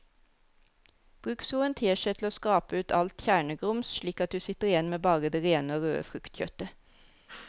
Bruk så en teskje til å skrape ut alt kjernegrums slik at du sitter igjen med bare det rene og røde fruktkjøttet.